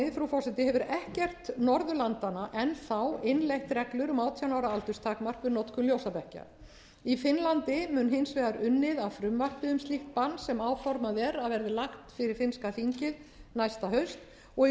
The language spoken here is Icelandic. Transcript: komist frú forseti hefur ekkert norðurlandanna enn þá innleitt reglur um átján ára aldurstakmark við notkun ljósabekkja í finnlandi mun hins vegar unnið að frumvarpi um slíkt bann sem áformað er að verði lagt fyrir finnska þingið næsta haust og í